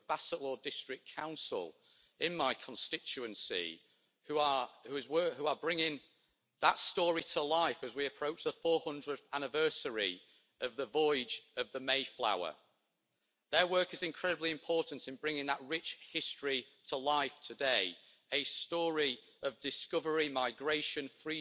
However, I also share the concerns expressed in the report that President Trump's administration has led to some set backs in very important fields of cooperation, such as trade, climate change or the United Nations. Having said this, despite developing and deepening the partnership further wherever possible, the European Union should also be prepared to build its strategic powers